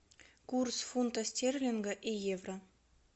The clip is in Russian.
курс фунта стерлинга и евро